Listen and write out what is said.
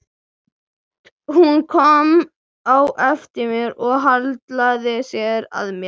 Hún kom á eftir mér og hallaði sér að mér.